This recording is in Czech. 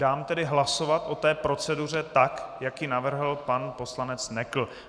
Dám tedy hlasovat o té proceduře tak, jak ji navrhl pan poslanec Nekl.